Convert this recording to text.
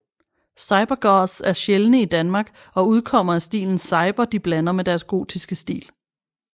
Cyber goths er sjældne i Danmark og udkommer af stilen Cyber de blander med deres gotiske stil